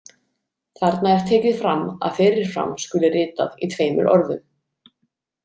Þarna er tekið fram að fyrir fram skuli ritað í tveimur orðum.